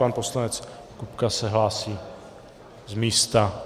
Pan poslanec Kupka se hlásí z místa.